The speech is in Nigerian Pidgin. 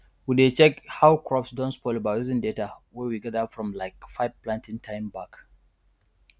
we dey check how crops don spoil by using data wey we gather from like five planting time back